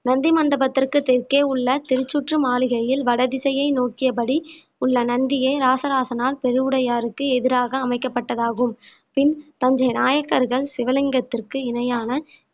நந்தி மண்டபத்திற்கு தெற்கே உள்ள திருச்சுற்று மாளிகையில் வடதிசையை நோக்கியபடி உள்ள நந்தியை ராசராசனார் பெருவுடையாருக்கு எதிராக அமைக்கப்பட்டதாகும் பின் தஞ்சை நாயக்கர்கள் சிவலிங்கத்திற்கு இணையான